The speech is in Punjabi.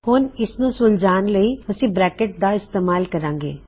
ਹੁਣ ਇਸਨੂੰ ਸੁਲਝਾਉਣ ਲਈ ਅਸੀਂ ਬਰੈਕਿਟਸ ਦਾ ਇਸਤੇਮਾਲ ਕਰਾਂਗੇ